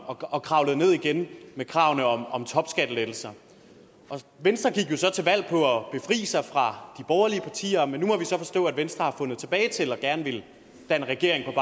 og kravlede ned igen med kravet om om topskattelettelser venstre gik jo så til valg på at befri sig fra de borgerlige partier men nu må vi så forstå at venstre har fundet tilbage til dem og gerne vil danne regering